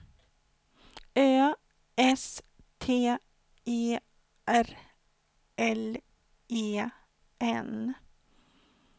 Ö S T E R L E N